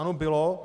Ano, bylo.